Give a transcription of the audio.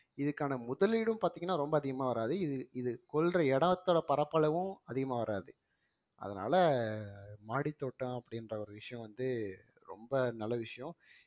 இதுக்கான முதலீடும் பாத்தீங்கன்னா ரொம்ப அதிகமா வராது இது இது கொள்ற இடத்தோட பரப்பளவும் அதிகமா வராது அதனால மாடித்தோட்டம் அப்படின்ற ஒரு விஷயம் வந்து ரொம்ப நல்ல விஷயம்